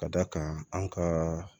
Ka d'a kan an ka